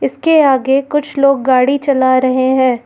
इसके आगे कुछ लोग गाड़ी चला रहे हैं।